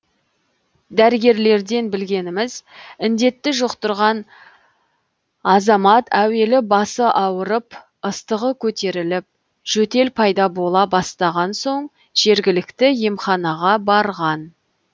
дәрігерлерден білгеніміз індетті жұқтырған азамат әуелі басы ауырып ыстығы көтеріліп жөтел пайда бола бастаған соң жергілікті емханаға барған